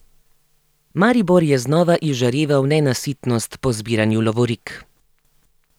Maribor je znova izžareval nenasitnost po zbiranju lovorik.